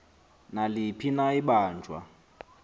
naliphi na ibanjwa